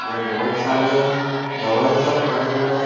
इधर बहुत सारे दवाई सब पड़े हुए हैं।